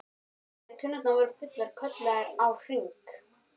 Þegar tunnurnar voru fullar kölluðu þær á HRING!